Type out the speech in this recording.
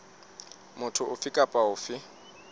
motho ofe kapa ofe o